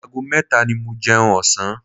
Ago mẹ́ta ni mo jẹun ọ̀sán.